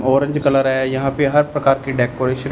orange colour है यहाँ पे हर प्रकार के डेकोरेशन --